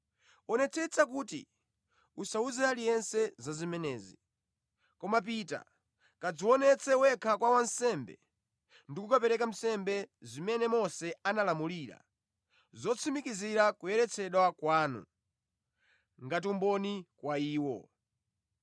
“Wonetsetsa kuti usawuze aliyense za zimenezi. Koma pita, kadzionetse wekha kwa wansembe ndi kukapereka nsembe zimene Mose analamulira zotsimikizira kuyeretsedwa kwanu, ngati umboni kwa iwo.”